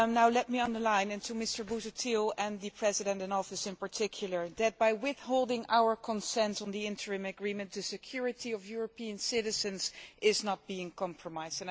Let me underline to Mr Busuttil and the President in Office, in particular, that by our withholding our consent on the interim agreement, the security of European citizens is not being compromised.